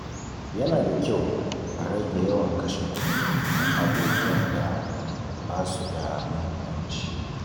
Yana da kyau a rage yawan kashe kuɗi kan abubuwan da ba su da muhimmanci.